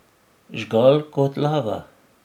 Žgal kot lava.